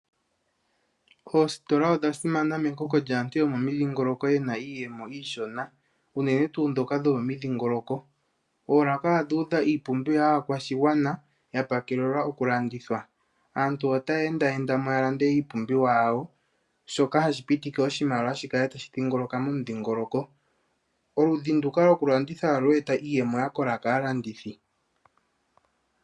Oositola odha simana mekoko lyaantu yo momidhingoloko yena iiyemo iishona unene tuu ndhoka dho momidhingoloko. Oolaka odhu udha iipumbiwa yaakwashigwana ya pakelelwa okulandithwa. Aantu otaya endayendamo yamone iipumbiwa yawo shoka hashi pitile oshimaliwa shikale tashi dhingoloka momudhingoloko. Oludhi nduka lwokulanditha ohalu eta iiyemo yakola kaalandithi.